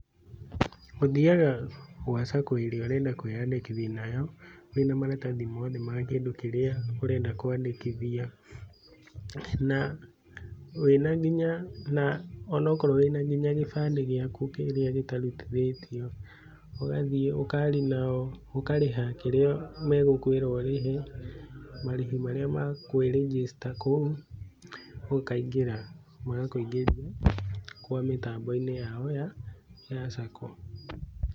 Ũthiaga gwa Sacco ĩrĩa ũrenda kwiyandĩkithia wina maratathi mothe ma kĩndũ kĩrĩa ũrenda kwandĩkithia. Na wĩna nginya ona akorwo wĩna gĩbandĩ gĩaku kĩrĩa gitarutithĩtio, ũgathiĩ ũkaria nao ũkarĩha kĩrĩa megũkwĩra ũrĩhe, marĩhi marĩa ma kwĩ register kũu, ũkaingĩra, magakũingĩria kwa mĩtambo-inĩ yao ya Sacco.